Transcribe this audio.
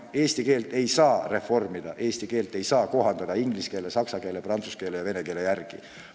Eesti keelt ei tohi reformida või kohandada inglise keele, saksa keele, prantsuse keele ja vene keele järgi.